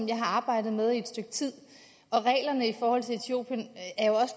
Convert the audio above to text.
jeg har arbejdet med et stykke tid og reglerne for etiopien